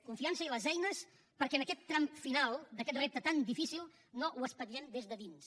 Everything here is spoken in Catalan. confiança i les eines perquè en aquest tram final d’aquest repte tan difícil no ho espatllem des de dins